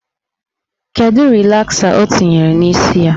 Kedụ rịlasa ọ tere n'isi ya?